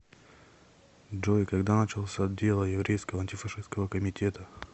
джой когда начался дело еврейского антифашистского комитета